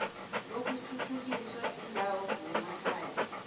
lokuthuthukisa iindawo zemakhaya